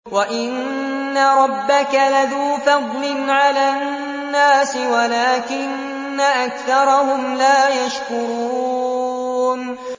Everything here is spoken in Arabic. وَإِنَّ رَبَّكَ لَذُو فَضْلٍ عَلَى النَّاسِ وَلَٰكِنَّ أَكْثَرَهُمْ لَا يَشْكُرُونَ